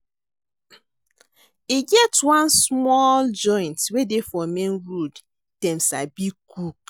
E get one small joint wey dey for main road, dem sabi cook.